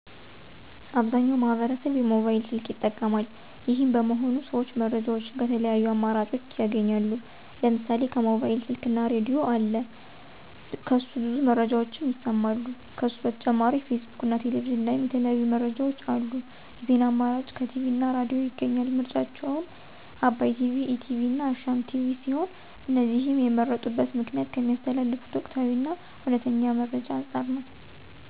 አብዛኛው ማህበረሰብ የሞባይል ስልክ ይጠቀማል። ይሄም በመሆኑ ሰዎች መረጃዎችን ከተለያዩ አማራጭኦች ያገኛሉ። ለምሳሌ ከሞባይል ስልክ ላይ ራድዬ አለ ከሱ ብዙ መረጃዎችን ይሰማሉ። ከሱ በተጨማሪ ፌስቡክ እና ቴሌቪዥን ላይም የተለያዩ መረጃዎች አሉ። የዜና አማራጭ ከቲቪ እና ራድዬ ያገኛሉ። ምርጫቸውም አባይ ቲቪ፣ ኢቲቪ እና አሻም ቲቪ ሲሆን እነዚህንም የመረጡበት ምክንያት ከሚያስተላልፉት ወቅታዊ እና እውነተኛ መረጃ አንፃር ነው።